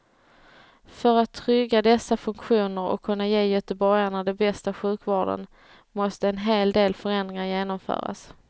För att trygga dessa funktioner och kunna ge göteborgarna den bästa sjukvården måste en hel del förändringar genomföras.